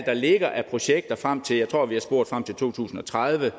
der ligger af projekter frem til to tusind og tredive